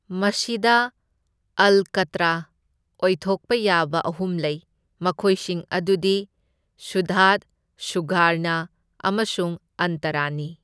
ꯃꯁꯤꯗ ꯑꯜꯀꯥꯇꯔꯥ ꯑꯣꯏꯊꯣꯛꯄ ꯌꯥꯕ ꯑꯍꯨꯝ ꯂꯩ, ꯃꯈꯣꯏꯁꯤꯡ ꯑꯗꯨꯗꯤ ꯁꯨꯗꯙ, ꯁꯥꯙꯥꯔꯅꯥ ꯑꯃꯁꯨꯡ ꯑꯟꯇꯔꯥꯅꯤ꯫